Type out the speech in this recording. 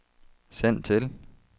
send til